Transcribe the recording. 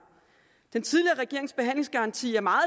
den tidligere regerings behandlingsgaranti er meget